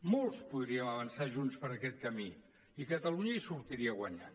molts podríem avançar junts per aquest camí i catalunya hi sortiria guanyant